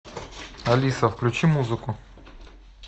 алиса включи музыку